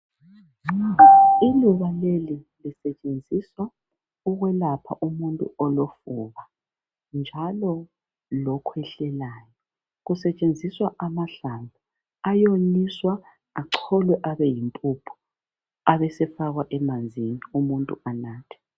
Umuthi lowu usetshenziswa ukwelapha umuntu olofuba njalo usetshenziswa njako lokhwehlelayo usetshenziswa amahlamvu awomiswa ecolwe abeyimpuphu abesefakwa emanzini umuntu anathe